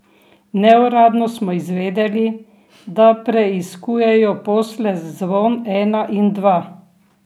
Neuradno smo izvedeli, da preiskujejo posle Zvon ena in dva.